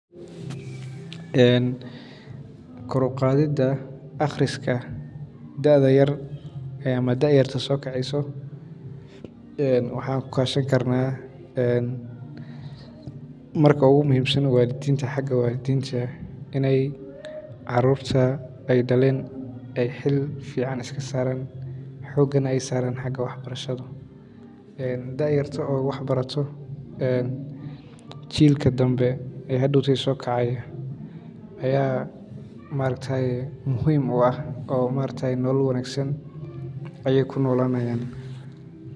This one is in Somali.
En kor uqaadida aqriska da yarta soo keceyso waxan ukashan karna marka ogu muhiim San waa walidinta xaga walidinta, inay carurta ay dhaleen ay xil iska saaran xooga na ay saaran dhanka wax barashada, en da yarta oo wax barato en chilka dambe ee hadowte soo kacaayo aya ma aragtaye muhiim u ah oo ma aragtaye nolol wanaagsan ayay kunolaanayan